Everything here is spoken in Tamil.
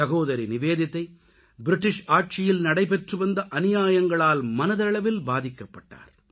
சகோதரி நிவேதிதா ஆங்கிலேயர் ஆட்சியில் நடைபெற்று வந்த அநியாயங்களால் மனதளவில் பாதிக்கப்பட்டார்